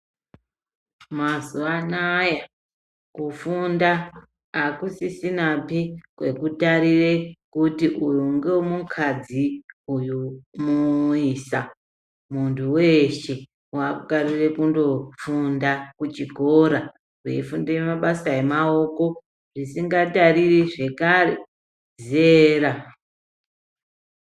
Mazuwanaya kufunda akusisinapi kwekutarura kuti uyu ngewemukadzi uyu muisa. Muntu weshe wakutarira kungofunda kuchikora veifunda mabasa emaoko zvisingatiriri zvakare zera.